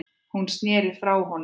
Hún sneri sér frá honum.